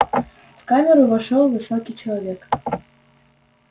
в камеру вошёл высокий человек